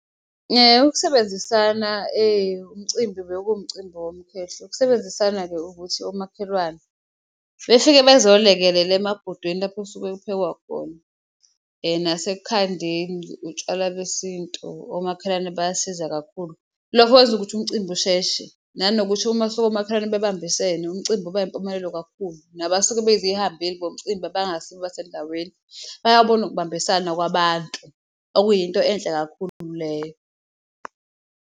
Ukusebenzisana umcimbi bekuwumcimbi womkhehlo, ukusebenzisana-ke ukuthi omakhelwane befike bezolekelela emabhodweni lapho osuke kuphekwa khona, nasekukhandeni utshwala besintu, omakhelwane bayasiza kakhulu. Lokho kwenza ukuthi umcimbi usheshe nanokuthi uma kusuka omakhelwane bebambisene umcimbi uba impumelelo kakhulu, nabasuke bezihambeli zomcimbi abangasibo basendaweni bayabona ukubambisana kwabantu okuyinto enhle kakhulu leyo.